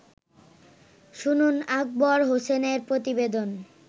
শুনুন আকবর হোসেনের প্রতিবেদন